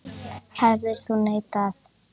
Hefðir þú neitað?